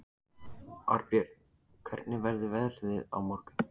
Arnbjörn, hvernig verður veðrið á morgun?